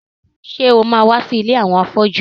Ṣé o ma wá sí ilé àwọn afọ́jú?